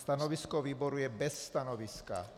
Stanovisko výboru je - bez stanoviska.